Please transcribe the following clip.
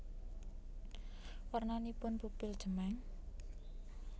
Warnanipun pupil cemeng